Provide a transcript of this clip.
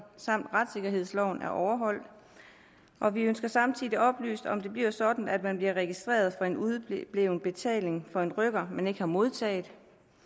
samt retssikkerhedsloven er overholdt og vi ønsker samtidig oplyst om det bliver sådan at man bliver registreret for en udebleven betaling af en rykker man ikke har modtaget